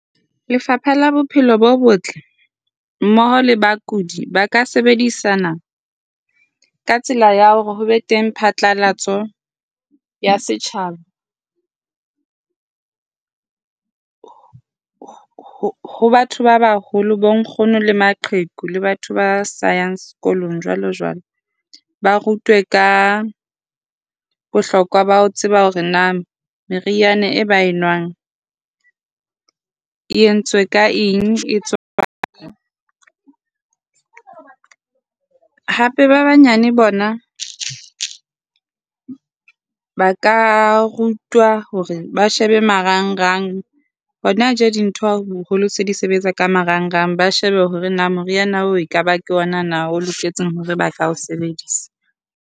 Lefapha la Bophelo bo Botle mmoho le bakudi ba ka sebedisana ka tsela ya hore ho be teng phatlalatso ya setjhaba ho ho ho batho ba baholo, bonkgono le maqheku le batho ba sa yang sekolong jwalojwalo. Ba rutwe ka bohlokwa ba ho tseba hore na meriana e ba e nwang e entswe ka eng, e tswa kae. Hape ba banyane bona ba ka rutwa hore ba shebe marangrang. Hona tjena dintho boholo se di sebetsa ka marangrang. Ba shebe hore na moriana oo ekaba ke yona na o loketseng hore ba ka o sebedisa.